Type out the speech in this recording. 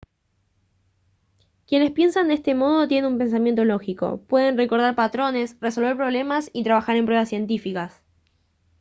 quienes piensan de este modo tienen un pensamiento lógico pueden recordar patrones resolver problemas y trabajar en pruebas científicas